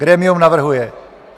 Grémium navrhuje: